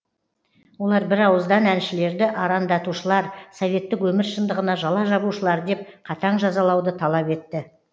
олар бір ауыздан әншілерді аранда тушылар советтік өмір шындығына жала жабушылар деп қатаң жазалауды талап етті